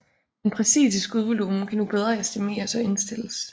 Den præcise skudvolumen kan nu bedre estimeres og indstilles